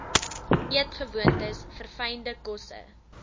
eetgewoontes verfynde kosse